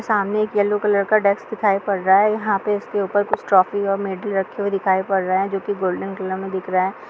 सामने एक yellow colour का डेस्क दिखाई पड़ रहा है | यहां पे इस के ऊपर कुछ ट्रॉफी और मैडल रखे हुए दिखाई पड़ रहे हैं जो की गोल्डन कलर में दिख रहे हैं।